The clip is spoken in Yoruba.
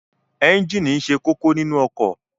Ẹ́ńjíìnì ṣe kókó nínu ọkọ̀.